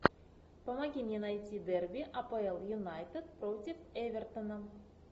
помоги мне найти дерби апл юнайтед против эвертона